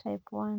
type I?